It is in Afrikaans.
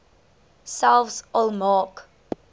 selfs al maak